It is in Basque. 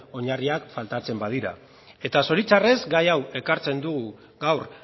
oinarriak faltatzen badira eta zoritxarrez gai hau ekartzen dugu gaur